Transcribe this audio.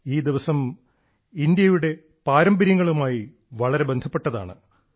ഈ ദിവസം ഇന്ത്യയുടെ പാരമ്പര്യങ്ങളുമായി വളരെ ബന്ധപ്പെട്ടതാണ്